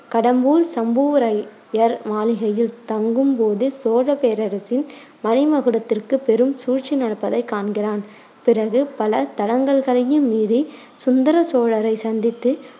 கடம்பூர் சம்புரையர் மாளிகையில் தங்கும் போது சோழப் பேரரசின் மணி மகுடத்திற்கு பெரும் சூழ்ச்சி நடப்பதை காண்கிறான். பிறகு பல தடங்கல்களையும் மீறி சுந்தர சோழரை சந்தித்து